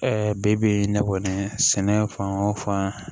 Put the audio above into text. bibi in ne kɔni sɛnɛ fan o fan